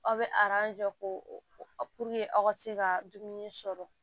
Aw bɛ jɔ k'o aw ka se ka dumuni sɔrɔ